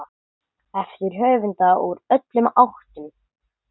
eftir höfunda úr öllum áttum.